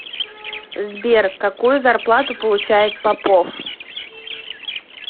сбер какую зарплату получает попов